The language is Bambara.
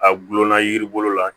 A gulonna yiri bolo la